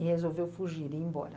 E resolveu fugir, ir embora?